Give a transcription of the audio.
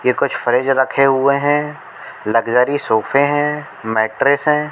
ये कुछ फ्रिज रखे हुए हैं लग्जरी सोफे हैं मैट्रेस हैं।